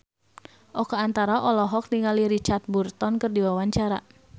Oka Antara olohok ningali Richard Burton keur diwawancara